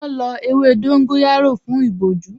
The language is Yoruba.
Wọ́n lọ ewé dóngóyárò fún ìbojú